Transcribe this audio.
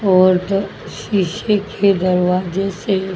और त शीशे के दरवाजे से--